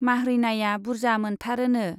माह्रैनाया बुर्जा मोनथारोनो।